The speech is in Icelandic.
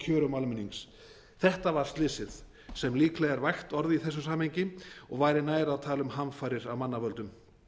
kjörum almennings þetta var slysið sem líklega er vægt orð í þessu samhengi og væri nær að tala um hamfarir af mannavöldum